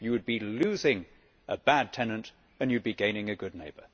You would be losing a bad tenant and you would be gaining a good neighbour.